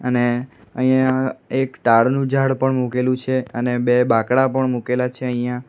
અને અહીંયા એક નું ઝાડ પણ મૂકેલું છે અને બે બાંકડા પણ મુકેલા છે અહીંયા.